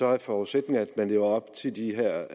er forudsætningerne at man lever op til de her